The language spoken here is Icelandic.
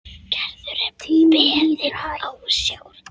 Gerður er beðin ásjár.